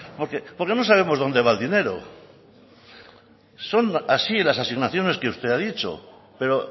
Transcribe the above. porque no sabemos dónde va el dinero son así las asignaciones que usted ha dicho pero